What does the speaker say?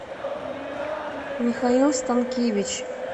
михаил станкевич